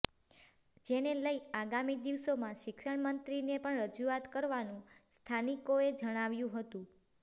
જેને લઈ આગામી દિવસોમાં શિક્ષણમંત્રીને પણ રજૂઆત કરવાનું સ્થાનિકોએ જણાવ્યું હતું